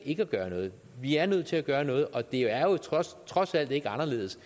ikke at gøre noget vi er nødt til at gøre noget og det er trods alt ikke anderledes